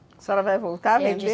A senhora vai voltar a vender?